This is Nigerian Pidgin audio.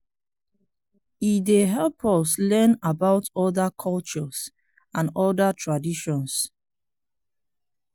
e dey help us learn about other cultures and other traditions.